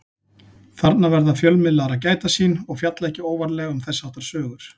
Þarna verða fjölmiðlar að gæta sín og fjalla ekki óvarlega um þess háttar sögur.